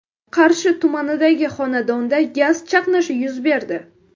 Qarshi tumanidagi xonadonda gaz chaqnashi yuz berdi.